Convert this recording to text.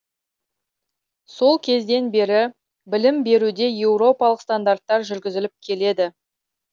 сол кезден бері білім беруде еуропалық стандарттар жүргізіліп келеді